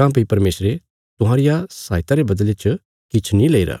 काँह्भई परमेशरे तुहांरी सहायता रे बदले च किछ नीं लेईरा